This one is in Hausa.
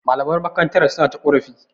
Malaman makarantar suna ta ƙorafi.